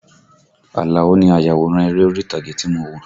Àlàó ni ayàwòrán eré orí ìtàgé tí mo wo